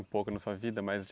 Um pouco na sua vida, mais